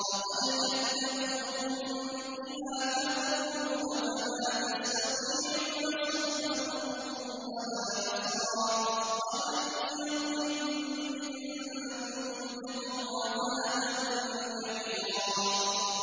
فَقَدْ كَذَّبُوكُم بِمَا تَقُولُونَ فَمَا تَسْتَطِيعُونَ صَرْفًا وَلَا نَصْرًا ۚ وَمَن يَظْلِم مِّنكُمْ نُذِقْهُ عَذَابًا كَبِيرًا